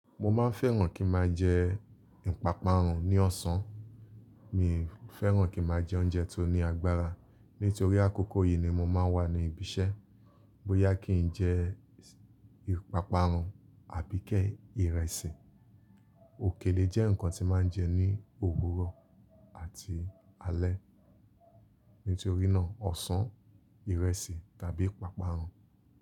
Mo máa ń fẹ́ràn kí n máa jẹ ìpápánu ní ọ̀sán. Mi fẹ́ràn kí n máa jẹ oúnjẹ tó ní agbára. Nítorí àkókò yìí ni mo máa ń wà ní ibi iṣẹ́. Bóyá kí n jẹ ìpápánu àbíké ìrẹsì. Òkèlè jẹ́ nǹkan tí màá ń jẹ ní òwúrọ̀ àti alẹ́. Nítorí náà ọ̀sán, ìrẹsì tàbí ìpápánu.